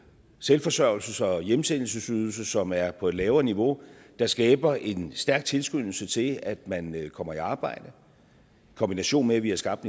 selvforsørgelses og hjemsendelsesydelse som er på et lavere niveau der skaber en stærk tilskyndelse til at man kommer i arbejde i kombination med at vi har skabt